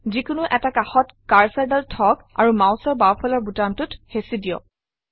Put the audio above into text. যিকোনো এটা কাষত কাৰ্চৰডাল থওক আৰু মাউচৰ বাওঁফালৰ বুটামটোত হেচি দিয়ক